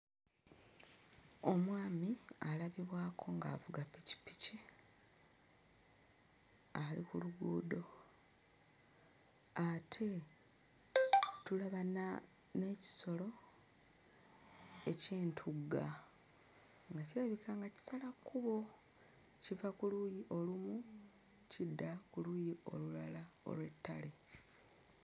Omwami alabibwako ng'avuga ppikippiki ali ku luguudo ate tulaba na n'ekisolo eky'entugga nga kirabika nga kisala kkubo, kiva ku luuyi olumu kidda ku luuyi olulala olw'ettale.